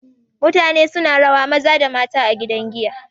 mutane suna rawa Maza da mata a gidan giya